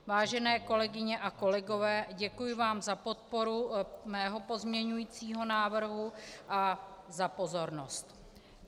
Vážené kolegyně a kolegové, děkuji vám za podporu mého pozměňujícího návrhu a za pozornost.